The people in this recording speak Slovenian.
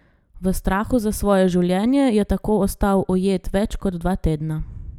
V strahu za svoje življenje je tako ostal ujet več kot dva tedna.